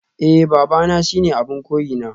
Eh babana shine abin koyina